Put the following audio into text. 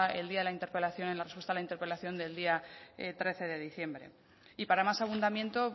el día de la interpelación en la respuesta a la interpelación del día trece de diciembre y para más abundamiento